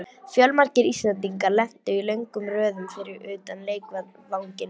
Fjölmargir Íslendingar lentu í löngum röðum fyrir utan leikvanginn.